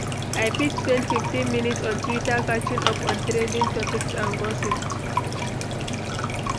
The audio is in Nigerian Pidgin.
I fit spend 15 minutes on Twitter catching up on trending topics and gossip.